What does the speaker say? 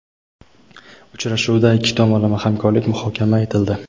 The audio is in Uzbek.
Uchrashuvda ikki tomonlama hamkorlik muhokama etildi:.